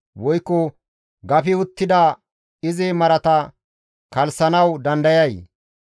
Woykko gafi uttida izi marata kalssanawu dandayay?